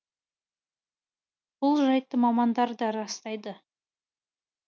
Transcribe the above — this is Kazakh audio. бұл жайтты мамандар да растайды